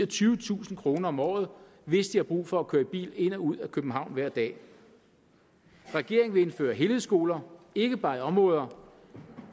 tyvetusind kroner om året hvis de har brug for at køre i bil ind og ud af københavn hver dag regeringen vil indføre helhedsskoler ikke bare i de områder